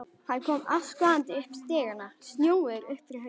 Hann kom askvaðandi upp stigana, snjóugur upp fyrir haus.